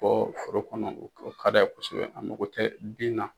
Bɔ foro kɔnɔ o ka di a ye kosɛbɛ a mago tɛ bin na